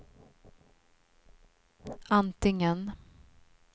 antingen